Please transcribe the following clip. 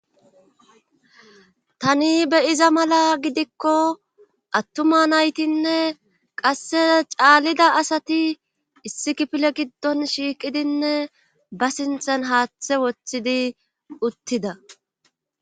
tani be iza mala gidikko attuma naytinne qasse caallida asati issi kipile giddon shiiqidinne ba sinthan haaththe wothidi uttida